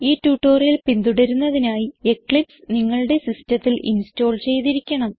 ഈ ട്യൂട്ടോറിയൽ പിന്തുടരുന്നതിനായി എക്ലിപ്സ് നിങ്ങളുടെ സിസ്റ്റത്തിൽ ഇൻസ്റ്റോൾ ചെയ്തിരിക്കണം